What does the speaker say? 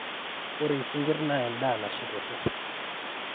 ore isinkirr naa endaa nashet osesen